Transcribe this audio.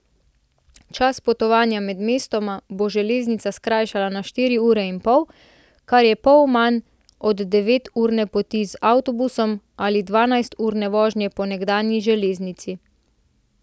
Čas potovanja med mestoma bo železnica skrajšala na štiri ure in pol, kar je pol manj od deveturne poti z avtobusom ali dvanajsturne vožnje po nekdanji železnici.